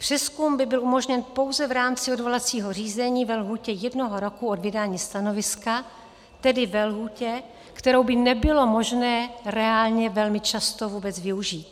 Přezkum by byl umožněn pouze v rámci odvolacího řízení ve lhůtě jednoho roku od vydání stanoviska, tedy ve lhůtě, kterou by nebylo možné reálně velmi často vůbec využít.